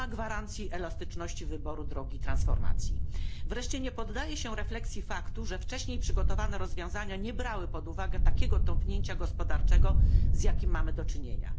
Nie ma gwarancji elastyczności wyboru drogi transformacji, wreszcie nie poddaje się refleksji faktu, że wcześniej przygotowane rozwiązania nie brały pod uwagę takiego tąpnięcia gospodarczego, z jakim mamy do czynienia.